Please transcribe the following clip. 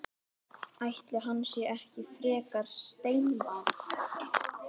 Ætli hann sé ekki frekar steinbarn.